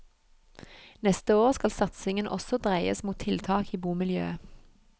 Neste år skal satsingen også dreies mot tiltak i bomiljøet.